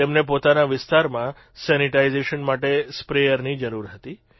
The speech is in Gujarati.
તેમને પોતાના વિસ્તારમાં સેનીટાઇજેશન માટે સ્પ્રેયરની જરૂર હતી